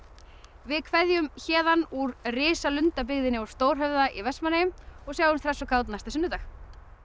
við kveðjum héðan úr á Stórhöfða í Vestmannaeyjum og sjáumst hress og kát næsta sunnudag